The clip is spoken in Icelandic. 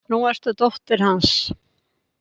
Nú ertu dóttir hans.